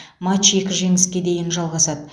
матч екі жеңіске дейін жалғасады